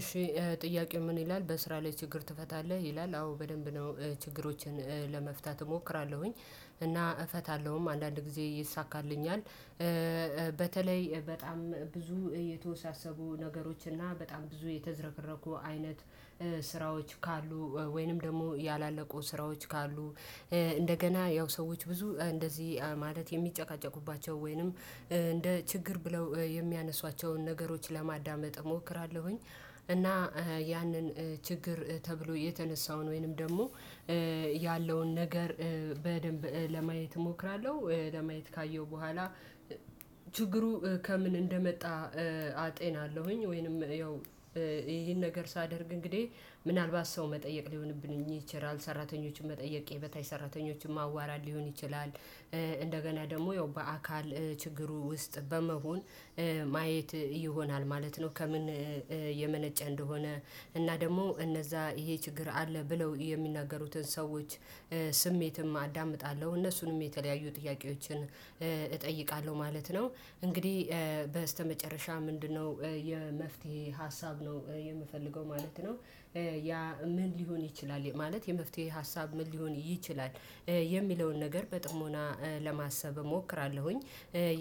እሺ ጥያቄው ምን ይላል? በስራ ላይ ችግር ትፈታለህ? ይላል አዎ በደንብ ነው ችግሮችን ለመፍታት እሞክራለሁኝ እና እፈታለሁም አንዳንድ ጊዜ ይሳካልኛል በተለይ በጣም ብዙ የተወሳሰቡ ነገሮች እና በጣም ብዙ የተዘረገረጉ አይነት ስራዎች ካሉ ወይንም ደግሞ ያላለቁ ስራዎች ካሉ እንደገና ያው ሰዎች ብዙ እንደዚህ ማለት የሚጨቃጨቁባቸው ወይንም እንደ ችግር ብለው የሚያነሷቸውን ነገሮች ለማዳመጥ እሞክራለሁኝ። እና ያንን ችግር ተብሎ የተነሳውን ወይንም ደግሞ ያለውን ነገር በደንብ ለማየት እሞክራለሁ። ለማየት ካየሁ በኋላ ችግሩ ከምን እንደመጣ አጤናለሁኝ ወይንም ይሄን ነገር ሳደርግ እንግዲህ ምናልባት ሰው መጠየቅ ሊሆንብኝ ይችላል። ሰራተኞችን መጠየቅ የመታይ ሰራተኞችን ማዋራት ሊሆን ይችላል። እንደገና ደግሞ ያው በአካል ችግሩ ውስጥ በመሆን ማየት ይሆናል። ማለት ነው ከምን የመነጨ እንደሆነ እና ደግሞ እነዛ ይሄ ችግር አለ ብለው የሚናገሩትን ሰዎች ስሜትም አዳምጣለሁ። እነሱንም የተለያየ ጥያቄዎችን እጠይቃለሁ። ማለት ነው እንግዲህ በስተመጨረሻ ምንድነው የመፍትሄ ሀሳብ ነው የምፈልገው ማለት ነው። ምን ሊሆን ይችላል ማለት የመፍትሄ ሀሳብ ምን ሊሆን ይችላል። የሚለውን ነገር በጥሞና ለማሰብ እሞክራለሁኝ።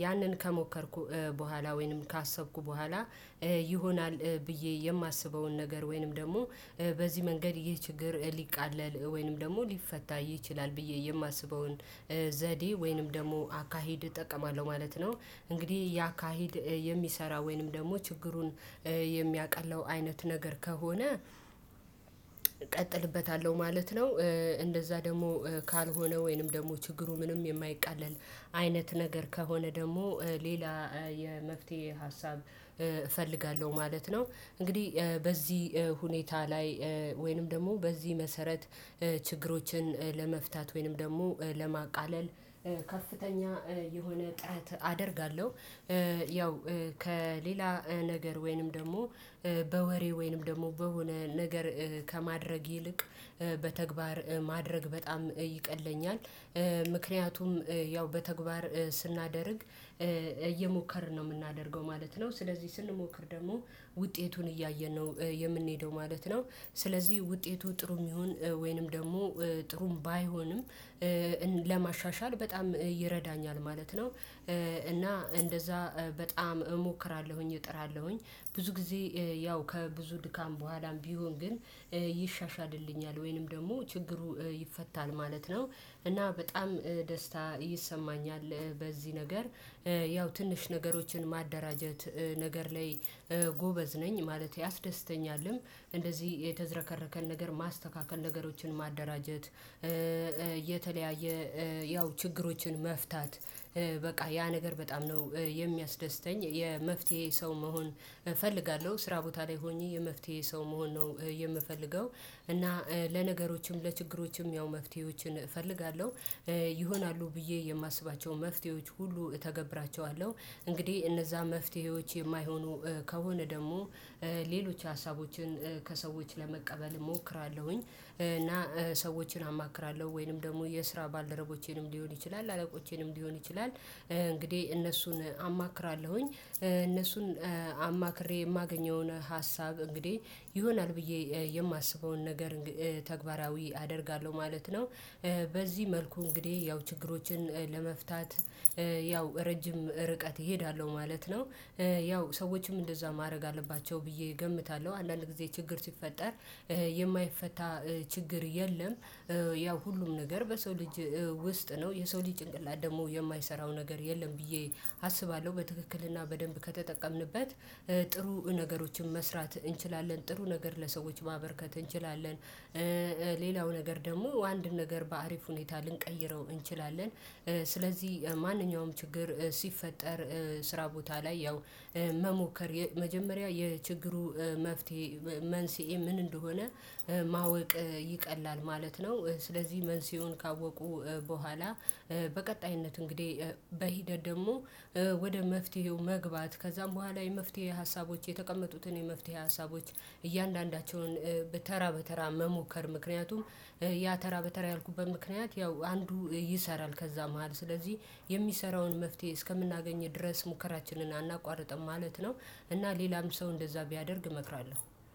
ያንን ከሞከርኩ በኋላ ወይንም ካሰብኩ በኋላ ይሆናል ብዬ የማስበውን ነገር ወይንም ደግሞ በዚህ መንገድ ይሄ ችግር ሊቃለል ወይንም ደግሞ ሊፈታ ይችላል። ብዬ የማስበውን ዘዴ ወይንም ደግሞ አካሄድ እጠቀማለሁ። ማለት ነው እንግዲህ ያ ካሄድ የሚሰራ ወይንም ደግሞ ችግሩን የሚያቃለው አይነት ነገር ከሆነ እቀጥልበታለሁ ማለት ነው። እንደዛ ደግሞ ካልሆነ ወይንም ደግሞ ችግሩ ምንም የማይቃለል አይነት ነገር ከሆነ ደግሞ ሌላ የመፍትሄ ሀሳብ እፈልጋለሁ። ማለት ነው እንግዲህ በዚህ ሁኔታ ላይ ወይንም ደግሞ በዚህ መሰረት ችግሮችን ለመፍታት ወይንም ደግሞ ለማቃለል ከፍተኛ የሆነ ጥረት አደርጋለሁ። ያው ከሌላ ነገር ወይንም ደግሞ በወሬ ወይንም ደግሞ በሆነ ነገር ከማድረግ ይልቅ በተግባር ማድረግ በጣም ይቀለኝኛል። ምክንያቱም ያው በተግባር ስናደርግ እየሞከርን ነው የምናደርገው ማለት ነው። ስለዚህ ስንሞክር ደግሞ ውጤቱን እያየን ነው የምንሄደው ማለት ነው። ስለዚህ ውጤቱ ጥሩም ይሁን ወይንም ደግሞ ጥሩም ባይሆንም ለማሻሻል በጣም ይረዳኛል። ማለት ነው እና እንደዛ በጣም እሞክራለሁኝ። እጥራለሁኝ። ብዙ ጊዜ ያው ከብዙ ድካም በኋላም ቢሆን ግን ይሻሻድልኛል ወይንም ደግሞ ችግሩ ይፈታል። ማለት ነው እና በጣም ደስታ ይሰማኛል በዚህ ነገር ያው ትንሽ ነገሮችን ማደራጀት ነገር ላይ ጎበዝ ነኝ ማለት ያስደስተኛልም እንደዚህ የተዘረከረከን ነገር ማስተካከል ነገሮችን ማደራጀት የተለያየ ያው ችግሮችን መፍታት በቃ ያ ነገር በጣም ነው የሚያስደስተኝ የመፍትሄ ሰው መሆን እፈልጋለሁ። ስራ ቦታ ላይ ሆኜ የመፍትሄ ሰው መሆን ነው የምፈልገው። እና ለነገሮችም ለችግሮችም ያው መፍትሄዎችን እፈልጋለሁ። ይሆናሉ ብዬ የማስባቸው መፍትሄዎች ሁሉ እተገብራቸዋለሁ። እንግዲህ እነዛ መፍትሄዎች የማይሆኑ ከሆነ ደግሞ ሌሎች ሀሳቦችን ከሰዎች ለመቀበል እሞክራለሁኝ። እና ሰዎችን አማክራለሁ። ወይንም ደግሞ የስራ ባልደረቦቼንም ሊሆን ይችላል። አለቆቼንም ሊሆን ይችላል። እንግዲህ እነሱን አማክራለሁኝ እነሱን አማክሬ የማገኘውን ሀሳብ እንግዲህ ይሆናል ብዬ የማስበውን ነገር ተግባራዊ አደርጋለሁ። ማለት ነው በዚህ መልኩ እንግዲህ ያው ችግሮችን ለመፍታት ያው ረጅም ርቀት እሄዳለሁ። ማለት ነው ያው ሰዎችም እንደዛ ማድረግ አለባቸው ብዬ እገምታለሁ። አንዳንድ ጊዜ ችግር ሲፈጠር የማይፈታ ችግር የለም። ያው ሁሉም ነገር በሰው ልጅ ውስጥ ነው የሰው ጭንቅላት ደግሞ የማይሰራው ነገር የለም። ብዬ አስባለሁ በትክክልና በደንብ ከተጠቀምንበት ጥሩ ነገሮችን መስራት እንችላለን። ጥሩ ነገር ለሰዎች ማበርከት እንችላለን። ሌላው ነገር ደግሞ አንድ ነገር በአሪፍ ሁኔታ ልንቀይረው እንችላለን። ስለዚህ ማንኛውም ችግር ሲፈጠር ስራ ቦታ ላይ ያው መሞከር መጀመሪያ የችግሩ መፍትሄ መንስኤ ምን እንደሆነ ማወቅ ይቀላል ማለት ነው ስለዚህ መንስኤውን ካወቁ በኋላ በቀጣይነት እንግዲህ በሂደት ደግሞ ወደ መፍትሄው መግባት ከዛም በኋላ የመፍትሄ ሀሳቦች የተቀመጡትን የመፍትሄ ሀሳቦች እያንዳንዳቸውን በተራ በተራ መሞከር። ምክንያቱም ያ ተራ በተራ ያልኩበት ምክንያት ያው አንዱ ይሰራል። ከዛ መሃል ስለዚህ የሚሰራውን መፍትሄ እስከምናገኝ ድረስ ሙከራችንን አናቋርጥም ማለት ነው። እና ሌላም ሰው እንደዛ ቢያደርግ እመክራለሁ።